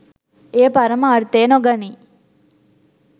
එය පරම අර්ථය නොගනී.